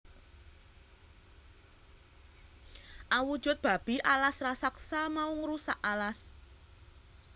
Awujud babi alas rasaksa mau ngrusak alas